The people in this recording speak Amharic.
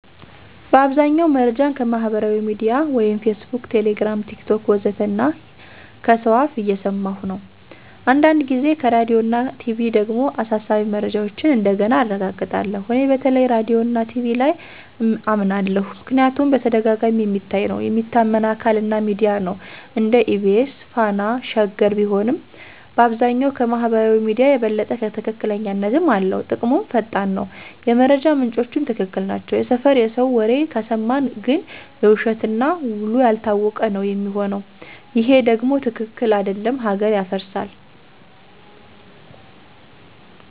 በአብዛኛው መረጃን ከማህበራዊ ሚድያ (Facebook, Telegram, TikTok ወዘተ) እና ከሰው አፍ እየሰማኩ ነው። አንዳንድ ጊዜ ከራዲዮና ቲቪ ደግሞ አሳሳቢ መረጃዎችን እንደገና አረጋግጣለሁ። እኔ በተለይ ራዲዮና ቲቪ ላይ አመናለሁ ምክንያቱም በተደጋጋሚ የሚታይ ነው፣ የሚታመን አካል እና ሚዲያ ነው (እንደ EBC፣ Fana፣ Sheger ቢሆንም)፣ በአብዛኛው ከማህበራዊ ሚዲያ የበለጠ ትክክለኛነትም አለው። ጥቅሙም ፈጣን ነው፣ የመረጃ ምንጮቹም ትክክል ናቸው። የሰፈር የሰው ወሬ ከሰማን ግን የውሸት እና ውሉ ያልታወቀ ነው ሚሆነው ይሄ ደም ትክክል አደለም ሀገር ያፈርሳል።